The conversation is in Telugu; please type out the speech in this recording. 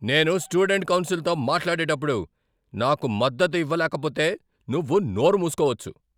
నేను స్టూడెంట్ కౌన్సిల్తో మాట్లాడేటప్పుడు నాకు మద్దతు ఇవ్వలేకపోతే, నువ్వు నోరు మూసుకోవచ్చు.